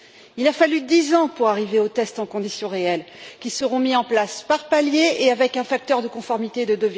Il a fallu dix ans pour arriver aux tests en conditions réelles, qui seront mis en place par paliers et avec un facteur de conformité de